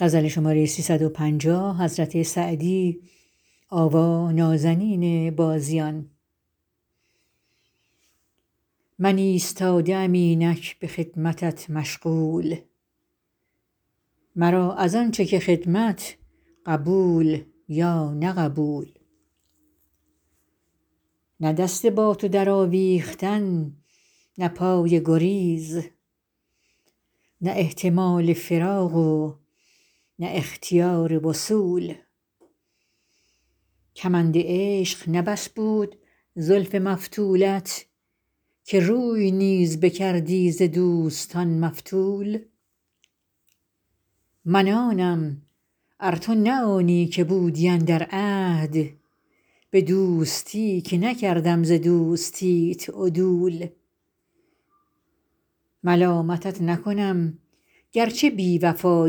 من ایستاده ام اینک به خدمتت مشغول مرا از آن چه که خدمت قبول یا نه قبول نه دست با تو درآویختن نه پای گریز نه احتمال فراق و نه اختیار وصول کمند عشق نه بس بود زلف مفتولت که روی نیز بکردی ز دوستان مفتول من آنم ار تو نه آنی که بودی اندر عهد به دوستی که نکردم ز دوستیت عدول ملامتت نکنم گر چه بی وفا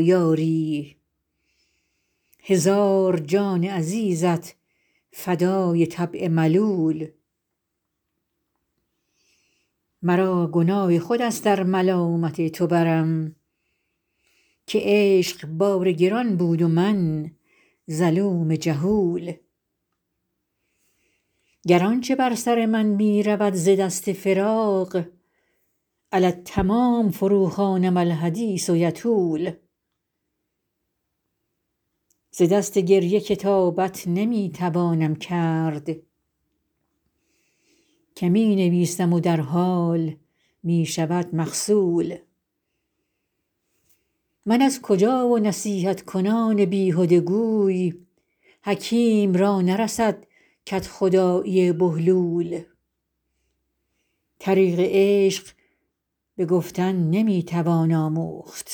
یاری هزار جان عزیزت فدای طبع ملول مرا گناه خود است ار ملامت تو برم که عشق بار گران بود و من ظلوم جهول گر آن چه بر سر من می رود ز دست فراق علی التمام فروخوانم الحدیث یطول ز دست گریه کتابت نمی توانم کرد که می نویسم و در حال می شود مغسول من از کجا و نصیحت کنان بیهده گوی حکیم را نرسد کدخدایی بهلول طریق عشق به گفتن نمی توان آموخت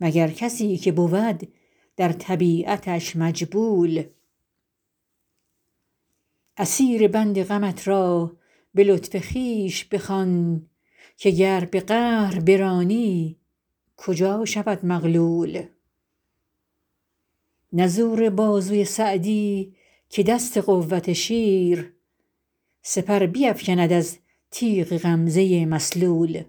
مگر کسی که بود در طبیعتش مجبول اسیر بند غمت را به لطف خویش بخوان که گر به قهر برانی کجا شود مغلول نه زور بازوی سعدی که دست قوت شیر سپر بیفکند از تیغ غمزه مسلول